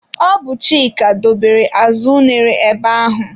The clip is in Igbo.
Ọ bụ Chika dobere azụ unere ebe ahụ.